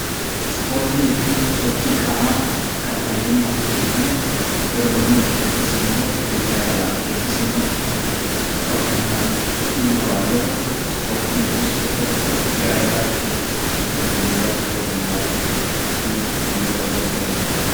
Ispoortii jechuun sochii qaamaa kan fayyummaaf, kan dorgommiif, kan jaalalaaf yookiis immoo kan bashannanaaf itti dhimma baanu yoo ta'u, ispoortiin kunis gosoota garaa garaatu jira.